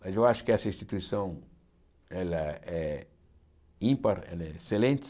Mas eu acho que essa instituição ela é ímpar, ela é excelente.